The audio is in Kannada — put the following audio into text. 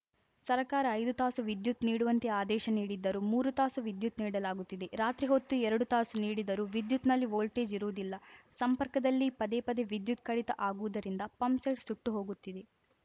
ಸರಕಾರ ಐದು ತಾಸು ವಿದ್ಯುತ್‌ ನೀಡುವಂತೆ ಆದೇಶ ನೀಡಿದ್ದರೂ ಮೂರು ತಾಸು ವಿದ್ಯುತ್‌ ನೀಡಲಾಗುತ್ತಿದೆ ರಾತ್ರಿ ಹೊತ್ತು ಎರಡು ತಾಸು ನೀಡಿದರೂ ವಿದ್ಯುತ್‌ನಲ್ಲಿ ವೋಲ್ಟೇಜ್‌ ಇರುವುದಿಲ್ಲ ಸಂಪರ್ಕದಲ್ಲಿ ಪದೇಪದೆ ವಿದ್ಯುತ್‌ ಕಡಿತ ಆಗುವುದರಿಂದ ಪಂಪ್‌ಸೆಟ್‌ ಸುಟ್ಟು ಹೊಗುತ್ತಿದೆ